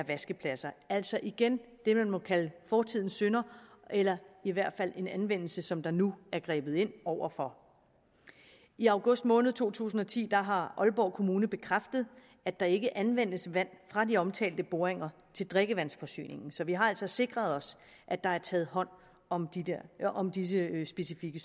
vaskepladser altså igen det man må kalde fortidens synder eller i hvert fald en anvendelse som der nu er grebet ind over for i august måned to tusind og ti har aalborg kommune bekræftet at der ikke anvendes vand fra de omtalte boringer til drikkevandsforsyningen så vi har altså sikret os at der er taget hånd om om disse specifikke